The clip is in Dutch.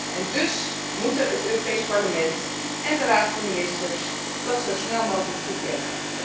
En dus moeten het Europees Parlement en de Raad van Ministers dat zo snel mogelijk toekennen.